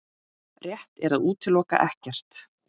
Rétt er að útiloka ekkert